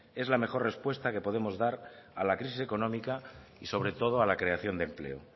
es la mejor respuesta que podemos dar a la crisis económica y sobre todo a la creación de empleo